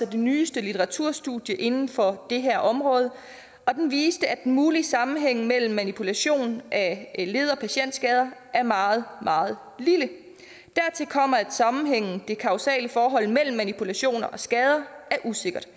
det nyeste litteraturstudie inden for det her område viser at den mulige sammenhæng mellem manipulation af led og patientskader er meget meget lille dertil kommer at sammenhængen det kausale forhold mellem manipulation og skade er usikker der